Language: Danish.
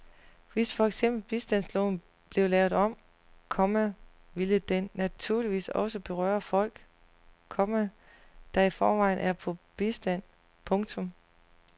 Hvis for eksempel bistandsloven blev lavet om, komma ville den naturligvis også berøre folk, komma der i forvejen er på bistand. punktum